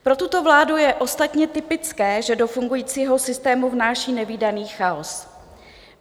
Pro tuto vládu je ostatně typické, že do fungujícího systému vnáší nevídaný chaos.